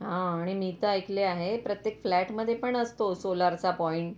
हा आणि मी तर ऐकले आहे प्रत्येक फ्लॅट मध्ये पण असतो सोलारचा पॉइंट.